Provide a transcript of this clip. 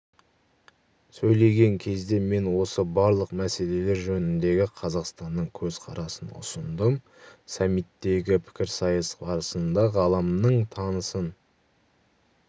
сөйлеген кезде мен осы барлық мәселелер жөніндегі қазақстанның көзқарасын ұсындым саммиттегі пікірсайыс барысында ғаламның тынысын